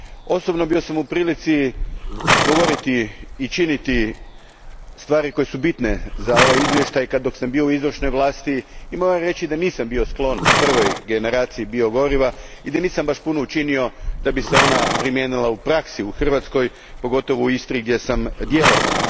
Osobno sam bio u prilici govoriti i činiti stvari koje su bitne za ovaj izvještaj dok sam bio u izvršnoj vlasti i moram reći da nisam bio sklon prvoj generaciji bio goriva i da nisam baš puno učinio kako bi se ona primijenila u praksi u Hrvatskoj, pogotovo u Istri gdje sam djelovao.